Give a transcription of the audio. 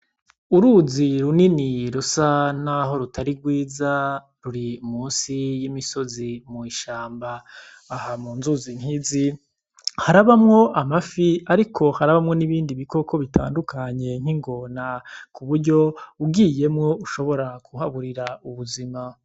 Uruzi runini rusa naho rutari rwiza ruri musi y'imisozi mw'ishamba. Aha mu nzuzi nk'izi harabamwo amafi ariko harabamwo n'ibindi bikoko bitandukanye, nk'ingona kuburyo ugiyemwo ushobora kuhaburira ubuzima.